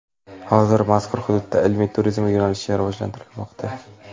Hozir mazkur hududda ilmiy turizm yo‘nalishi rivojlantirilmoqda.